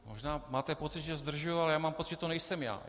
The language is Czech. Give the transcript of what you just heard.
Možná máte pocit, že zdržuji, ale já mám pocit, že to nejsem já.